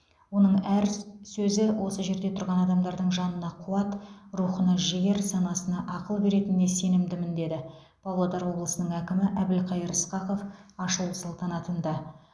оның әр сөзі осы жерде тұрған адамдардың жанына қуат рухына жігер санасына ақыл беретініне сенімдімін деді павлодар облысының әкімі әбілқайыр сқақов ашылу салтанатында